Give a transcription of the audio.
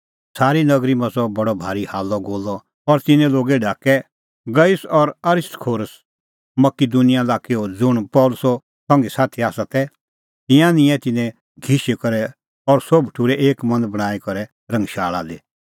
सारी नगरी मच़अ बडअ भारी हाल्लअगोल्लअ और तिन्नैं लोगै ढाकै गयुस और अरिस्तर्खुस मकिदुनिया लाक्कैओ ज़ुंण पल़सीए संघीसाथी आसा तै तिंयां निंयैं तिन्नैं घिशी करै और सोभ ठुर्है एक मन बणांईं करै रंगशाल़ा दी